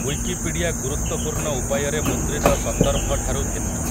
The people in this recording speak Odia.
ଉଇକିପିଡ଼ିଆ ଗୁରୁତ୍ୱପୂର୍ଣ୍ଣ ଉପାୟରେ ମୁଦ୍ରିତ ସନ୍ଦର୍ଭଠାରୁ ଭିନ୍ନ ।